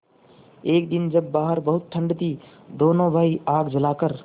एक दिन जब बाहर बहुत ठंड थी दोनों भाई आग जलाकर